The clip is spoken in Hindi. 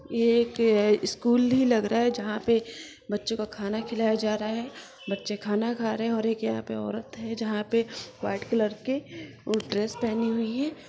ये एक स्कूल ही लग रहा है जहाँ पे बच्चों को खाना खिलाया जा रहा है बच्चे खाना खा रहे है और एक यहाँ पे एक औरत है जहाँ पे व्हाइट कलर के ड्रेस पहनी हुई है।